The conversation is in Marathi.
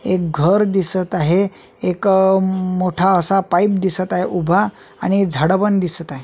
एक घर दिसत आहे एक मोठा असा पाईप दिसत आहे उभा आणि झाड पण दिसत आहे.